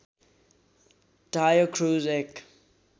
टायो Cruz एक